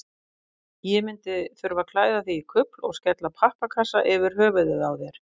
Ég myndi þurfa að klæða þig í kufl og skella pappakassa yfir höfuðið á þér.